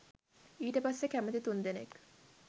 ඊට පස්සේ කැමති තුන්දෙනෙක්